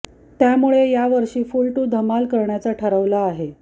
त्यामुळे या वर्षी फुल टू धमाल करण्याचं ठरवलं आहे